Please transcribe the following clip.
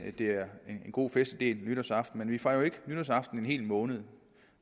at det er en god festlig del af nytårsaften men vi fejrer jo ikke nytårsaften en hel måned